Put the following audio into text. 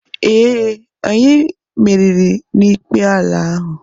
Ee, anyị merìrì na-ikpe ala ahụ.